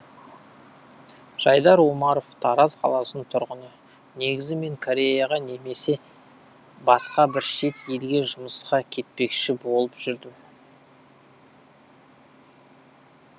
жайдар омаров тараз қаласының тұрғыны негізі мен кореяға немесе басқа бір шет елге жұмысқа кетпекші болып жүрдім